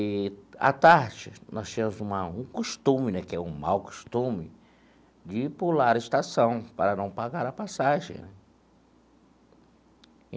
Eee à tarde, nós tínhamos uma um costume né que é um mal costume de pular a estação para não pagar a passagem né.